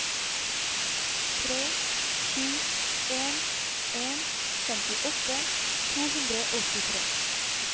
tre sju en en femtiåtte to hundre og åttitre